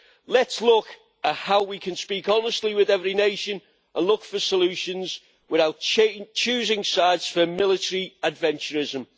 Let's look at how we can speak honestly with every nation and look for solutions without choosing sides for military adventurism.